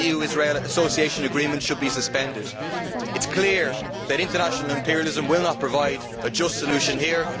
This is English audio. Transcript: The EU Israel Association Agreement should be suspended. It is clear that international imperialism will not provide a just solution here.